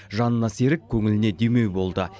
жанына серік көңіліне демеу болды